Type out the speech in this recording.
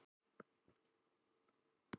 Að glápa upp í loftið.